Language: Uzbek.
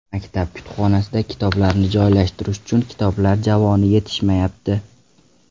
Maktab kutubxonasida kitoblarni joylashtirish uchun kitob javonlari yetishmayapti.